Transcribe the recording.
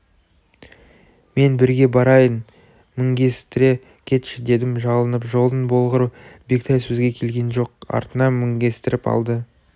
мен бірге барайын мінгестіре кетші дедім жалынып жолың болғыр бектай сөзге келген жоқ артына мінгестіріп алды